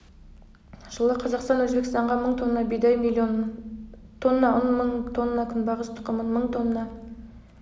жылы қазақстан өзбекстанға мың тонна бидай млн тонна ұн мың тонна күнбағыс тұқымын мың тонна